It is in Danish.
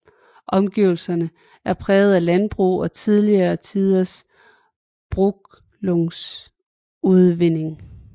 Omgivelserne er præget af landbrug og tidligere tiders brunkujlsudvinding